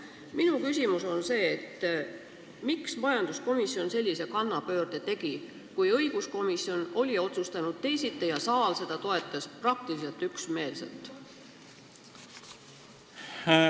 Minu küsimus on, miks tegi majanduskomisjon sellise kannapöörde, kui õiguskomisjon oli teisiti otsustanud ja saal seda praktiliselt üksmeelselt toetanud.